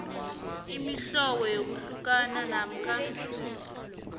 imihlobo yokuhlukana namkha